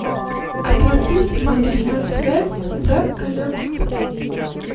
оплатить мобильную связь за коллегу